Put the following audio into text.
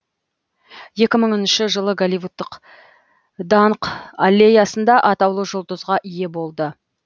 екі мыңыншы жылы голливудтық даңқ аллеясында атаулы жұлдызға ие болды